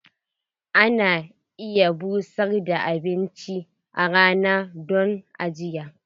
Ana iya busar da abinci a rana don ajiya.